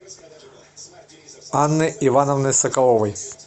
анны ивановны соколовой